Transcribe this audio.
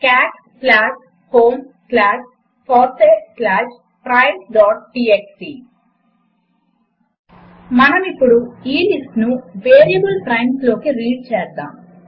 cot slash home slash fossee slash primesటీఎక్స్టీ మనమిప్పుడు ఈ లిస్టును వేరియబుల్ ప్రైమ్స్ లోకి రీడ్ చేద్దాము